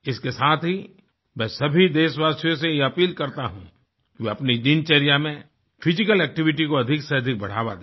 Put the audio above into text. इसके साथ ही मैं सभी देशवासियों से यह अपील करता हूँ वह अपनी दिनचर्या में फिजिकल एक्टिविटी को अधिक से अधिक बढ़ावा दें